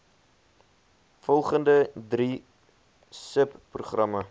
volgende drie subprogramme